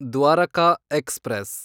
Dwarka express